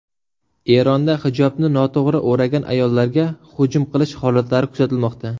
Eronda hijobni noto‘g‘ri o‘ragan ayollarga hujum qilish holatlari kuzatilmoqda.